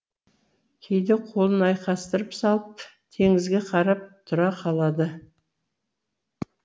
кейде қолын айқастырып салып теңізге қарап тұра қалады